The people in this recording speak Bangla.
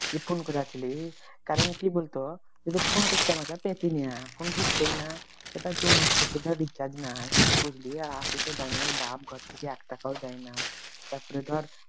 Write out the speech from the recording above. জি ফোন করেছিলিস কারণ কি বলতো যদি ফোন করতে আমাকে পেতেনা ফোন ঢুকত না এবার দুমাস থেকে recharge নাই বুঝলি আর তুই তো জানিস বাপ ঘর থেকে এক টাকাও দেয় না তারপরে ধর